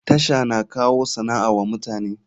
TASHA na kawo sana'a wa mutane.